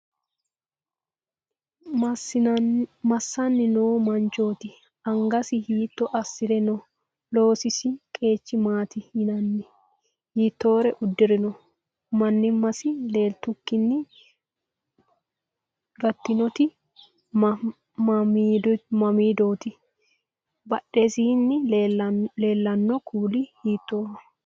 Massanni noo manchooti? Angasi hiitto assire no? Loosisi qeechi maati yinanni? Hiittore uddirinno? Mannimmasi leeltukkinni gattinoti mamiidooti? Badhesiinni leellanno kuuli hiittooho?